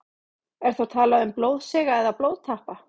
Er þá talað um blóðsega eða blóðtappa.